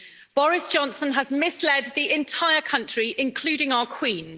Boris Johnson has misled the entire country, including our Queen.